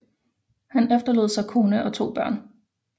Han efterlod sig kone og to børn